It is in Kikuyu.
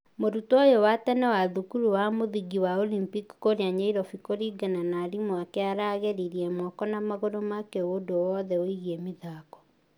Mũrutwo ũyũ wa tene wa thukuru wa mũthingi wa Olympic kũrĩa nyairobi kũringana na arimũ ake aragĩririe mũko na magũrũ make ũndũ wothe ũigie mĩthako.